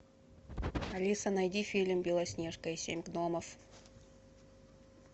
алиса найди фильм белоснежка и семь гномов